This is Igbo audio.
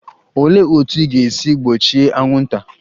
Olee otú ị ga-esi gbochie anwụnta?